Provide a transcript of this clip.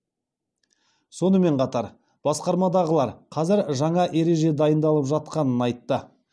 сонымен қатар басқармадағылар қазір жаңа ереже дайындалып жатқанын айтты